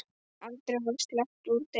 Aldrei var sleppt úr degi.